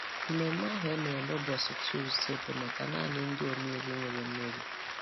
Mmeme ahụ e mere ụbọchị Tọzde, bụ maka naanị ndị omeiwu nwere meri.